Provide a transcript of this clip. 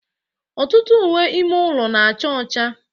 Ọtụtụ uwe ime ụlọ na-acha ọcha.